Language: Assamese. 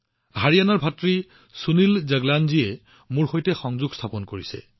হাৰিয়ানাৰ ভাতৃ সুনীল জগলানে মোৰ সৈতে যোগাযোগ স্থাপন কৰিছে